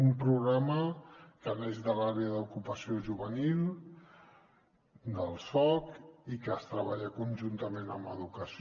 un programa que neix de l’àrea d’ocupació juvenil del soc i que es treballa conjuntament amb educació